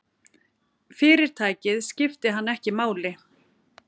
Fyrirtækið skipti hann ekki máli.